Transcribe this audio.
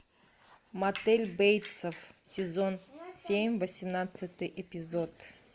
мотель бейтсов сезон семь восемнадцатый эпизод